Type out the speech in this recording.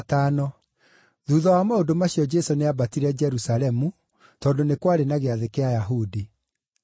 Thuutha wa maũndũ macio Jesũ nĩambatire Jerusalemu tondũ nĩ kwarĩ na gĩathĩ kĩa Ayahudi.